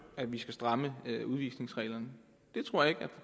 at vi skal stramme udvisningsreglerne jeg tror ikke